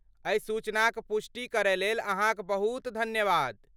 एहि सूचनाक पुष्टि करयलेल अहाँक बहुत धन्यवाद।